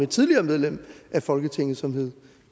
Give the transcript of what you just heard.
et tidligere medlem af folketinget som hed